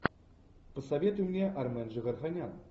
посоветуй мне армен джигарханян